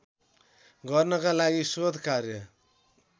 गर्नका लागि शोधकार्य